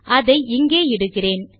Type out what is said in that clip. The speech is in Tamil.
அதை இங்கே இடுகிறேன்